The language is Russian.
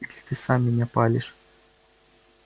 или ты сам меня палишь